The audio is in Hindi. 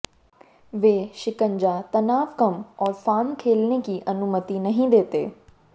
वे शिकंजा तनाव कम और फार्म खेलने की अनुमति नहीं देते